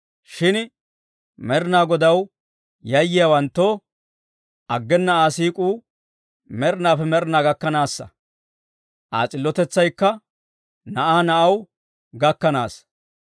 Shin Med'inaa Godaw yayyiyaawanttoo, aggena Aa siik'uu med'inaappe med'inaa gakkanaassa. Aa s'illotetsaykka na'aa na'aw gakkanaassa.